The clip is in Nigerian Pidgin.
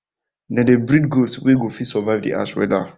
them dey breed goats wen go fit survive the harsh weather